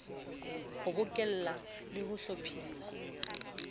ho bokella le ho hlophisa